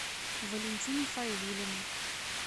валентине файзулиной